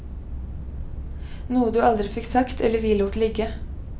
Noe du aldri fikk sagt eller vi lot ligge.